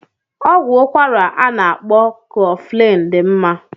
Ọgwụ ụkwara a na-akpọ koflin dị mma.